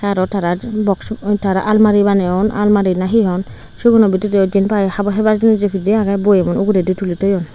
aro tarar boksu tara almari baneyon almari na he hon siguno bidirey jempai habo hebar jinis pidey agey boyemun uguredi tuli toyon.